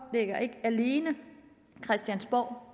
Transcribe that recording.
ikke alene christiansborg